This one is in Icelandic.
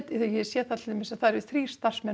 ég sé það til dæmis að það eru þrír starfsmenn